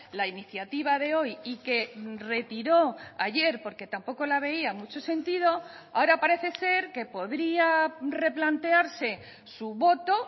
la iniciativa de hoy y que retiró ayer porque tampoco la veía mucho sentido ahora parece ser que podría replantearse su voto